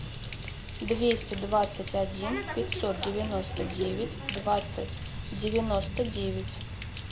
двести двадцать один пятьсот девяносто девять двадцать девяносто девять